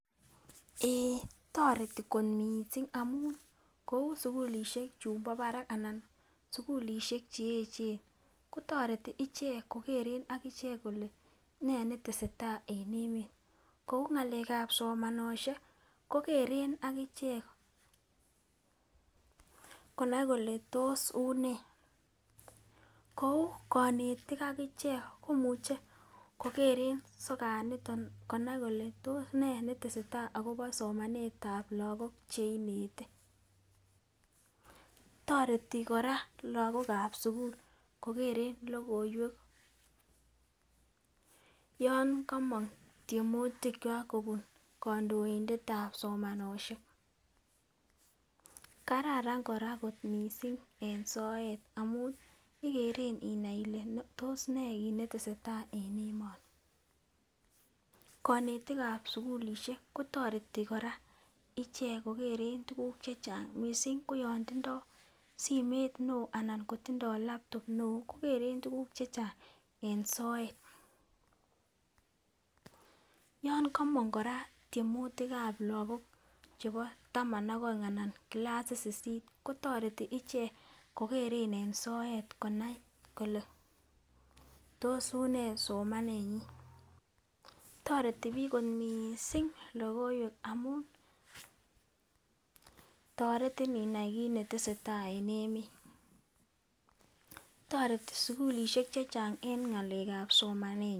Eeh toretii kot missing amun kou sukulishek chun bo barak ana sukulishek cheyechen kotoreti ichek kokere akichek kole nee netesetai en emet kou ngalekab somanoshek kokeren akichek konai kole tos unee, kou konetik akichek komuche kokeren sokat niton konai kole tos nee netesetai akobo somanetab lokok chik cheinete. Toreti koraa Lokokab sukul kokere lokoiwek yon komong tyemutik kwak kobun kondoindetab somanoshek . Kararan Koraa kot missing en soet amun ikere inai Ile tos nee kit netesetai en emoni. Konetikab sukulishek kotoreti koraa ichek kokere tukuk chechang missing ko yon tindo simet neo anan kotindo laptop neo kokeren tukuk chechang en soet. Yon komong Koraa tyemutikab lokok chebo taman ak oeng anan kilasit sisit kotoreti ichek kokeren en soet konai kole tos unee somanenyin. Toreti bik kot missing lokoiwek amun toreti inai kit netesetai en emet, toreti sukulishek chechang en ngalekab somanet.